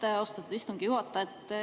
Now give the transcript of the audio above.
Aitäh, austatud istungi juhataja!